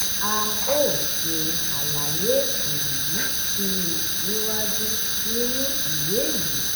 a óò ṣe àlàyé èyí sí i níwájú ninu ìwé yìí.